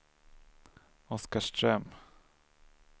Oskarström